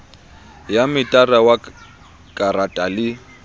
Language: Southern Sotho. ya metara wa karata le